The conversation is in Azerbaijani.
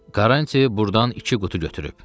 Karanç burdan iki qutu götürüb.